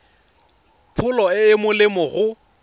pholo e e molemo go